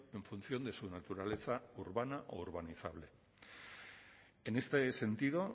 en función de su naturaleza urbana o urbanizable en este sentido